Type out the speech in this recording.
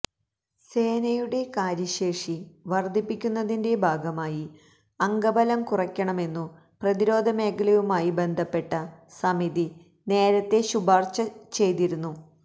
സേനയുടെ കാര്യശേഷി വർധിപ്പിക്കുന്നതിന്റെ ഭാഗമായി അംഗബലം കുറയ്ക്കണമെന്നു പ്രതിരോധ മേഖലയുമായി ബന്ധപ്പെട്ട സമിതി നേരത്തേ ശുപാർശ ചെയ്തിരുന്നു